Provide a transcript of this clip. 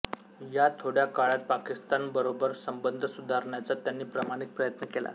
या थोड्या काळात पाकिस्तानबरोबर संबंध सुधारण्याचा त्यांनी प्रामाणिक प्रयत्न केला